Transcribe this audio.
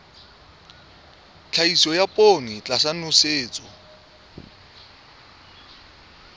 tlhahiso ya poone tlasa nosetso